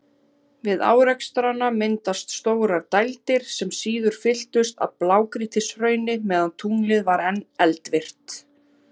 Við árekstrana mynduðust stórar dældir, sem síðar fylltust af blágrýtishrauni meðan tunglið var enn eldvirkt.